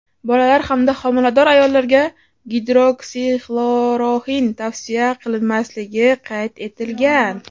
bolalar hamda homilador ayollarga Gidroksixloroxin tavsiya qilinmasligi qayd etilgan.